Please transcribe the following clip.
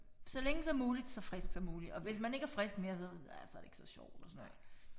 Så længe som muligt så frisk som muligt og hvis man ikke er frisk mere så ja så er det ikke så sjovt og sådan noget